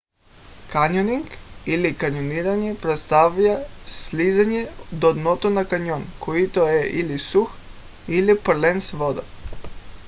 каньонинг или: каньониране представлява слизане до дъното на каньон който е или сух или пълен с вода